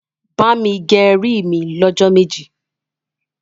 bá mí gé rí mí ló jó méjì.